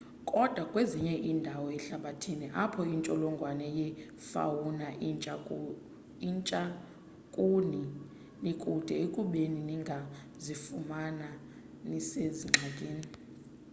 koda kwezinye indawo ehlabathini apho intsholongwane yefauna intsha kuni nikude ekubeni ningazifumana nisezingxakini